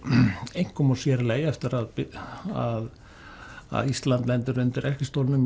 einkum og sér í lagi eftir að að að Ísland lendir undir